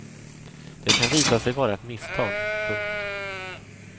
Det kan visa sig vara ett misstag. punkt